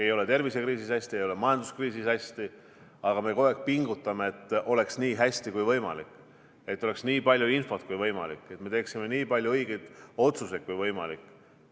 Ei ole tervisekriisis hästi, ei ole majanduskriisis hästi, aga me pingutame kogu aeg selle nimel, et oleks nii hästi kui võimalik, et oleks nii palju infot kui võimalik, et me teeksime nii palju õigeid otsuseid kui võimalik.